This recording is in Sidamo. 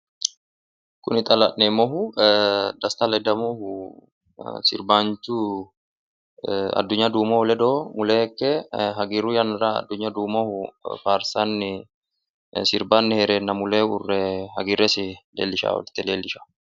koye xa la'neemmohu desta ledamohu sirbaanchu adunya duumohu ledo mule ikke hagiirru yannara faarsanni sirbanni heereenna mule uurre hagiirresi leellishshanno.